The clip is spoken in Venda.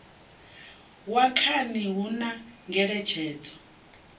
wa khani hu na ngeletshedzo